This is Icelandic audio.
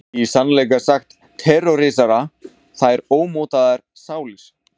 Í sannleika sagt terrorísera þær ómótaðar sálir.